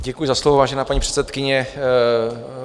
Děkuji za slovo, vážená paní předsedkyně.